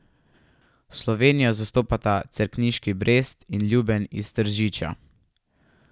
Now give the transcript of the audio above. Slovenijo zastopata cerkniški Brest in Ljubelj iz Tržiča.